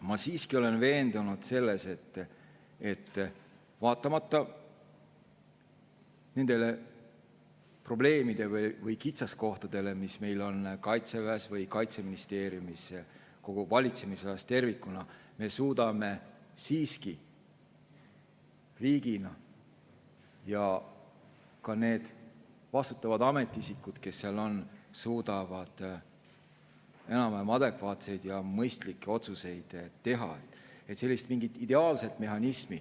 Ma olen siiski veendunud, et vaatamata nendele probleemidele või kitsaskohtadele, mis meil on Kaitseväes või Kaitseministeeriumis, kogu valitsemisalas tervikuna, me suudame siiski riigina – ja ka need vastutavad ametiisikud, kes seal on, suudavad seda – enam-vähem adekvaatseid ja mõistlikke otsuseid teha.